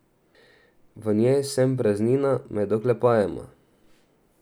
V njej sem praznina med oklepajema.